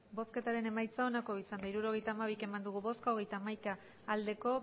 hirurogeita hamabi eman dugu bozka hogeita hamaika bai